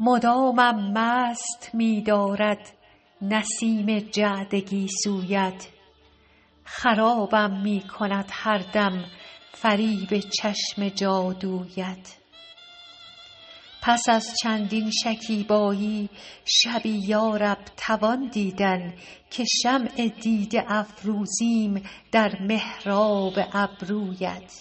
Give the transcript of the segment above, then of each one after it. مدامم مست می دارد نسیم جعد گیسویت خرابم می کند هر دم فریب چشم جادویت پس از چندین شکیبایی شبی یا رب توان دیدن که شمع دیده افروزیم در محراب ابرویت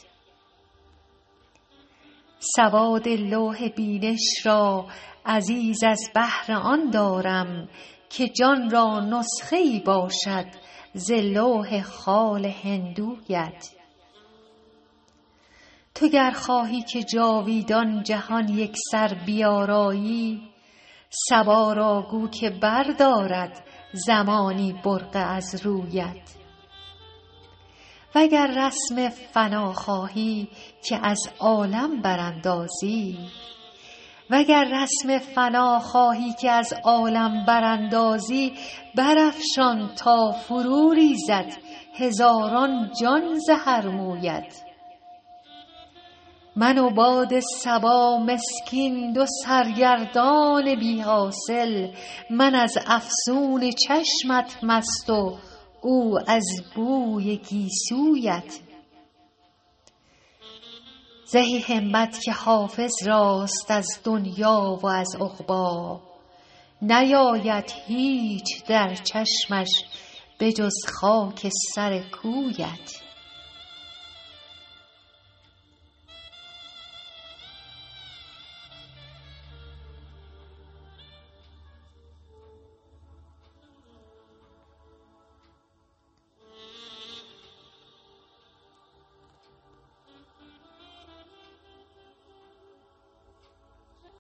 سواد لوح بینش را عزیز از بهر آن دارم که جان را نسخه ای باشد ز لوح خال هندویت تو گر خواهی که جاویدان جهان یکسر بیارایی صبا را گو که بردارد زمانی برقع از رویت و گر رسم فنا خواهی که از عالم براندازی برافشان تا فروریزد هزاران جان ز هر مویت من و باد صبا مسکین دو سرگردان بی حاصل من از افسون چشمت مست و او از بوی گیسویت زهی همت که حافظ راست از دنیی و از عقبی نیاید هیچ در چشمش به جز خاک سر کویت